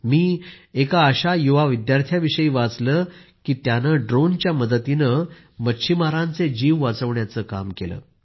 मी एका अशा युवा विद्यार्थ्याविषयी वाचले आहे की त्यानं ड्रोनच्या मदतीने मच्छीमारांचे जीव वाचविण्याचं काम केलंय